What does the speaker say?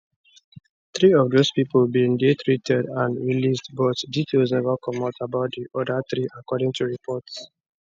three of those pipo bin dey treated and released but details neva comot about di oda three according to reports